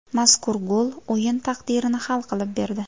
Mazkur gol o‘yin taqdirini hal qilib berdi.